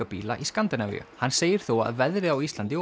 bíla í Skandinavíu hann segir þó að veðrið á Íslandi